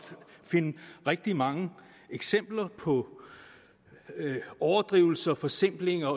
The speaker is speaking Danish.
finde rigtig mange eksempler på overdrivelser forsimplinger